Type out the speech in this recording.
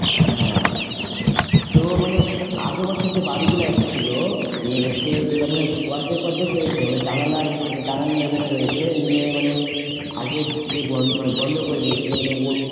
হ্যাঁ তো মানে আগের বছর যে বাড়িগুলা এসছিলো অর্ধেক অর্ধেক হয়েছে মানে level এ হয়েছে নিয়ে মানে আগে যে বন মানে বন্ধ করে দিয়েছিলো মানে